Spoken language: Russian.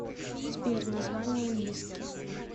сбер название лиски